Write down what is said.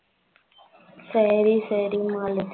சரி சரி மாலதி